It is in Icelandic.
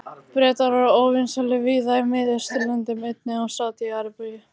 Bretar voru óvinsælir víða í Mið-Austurlöndum, einnig í Sádi-Arabíu.